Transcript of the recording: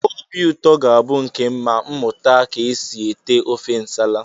Obi ụtọ ga-abụ nke m ma mụta ka e si ete ofe nsala